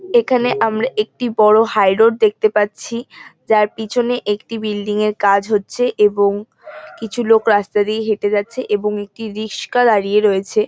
এখানে আমরা একটি বড় হাইরোড দেখতে পাচ্ছি যার পিছনে একটি বিল্ডিং এর কাজ হচ্ছে এবং কিছু লোক রাস্তা দিয়ে হেটে যাচ্ছে এবং একটি রিস্কা দাঁড়িয়ে রয়েছে।